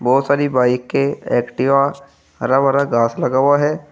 बहुत सारी बाईकें एक्टिवा हरा भरा घास लग हुआ है।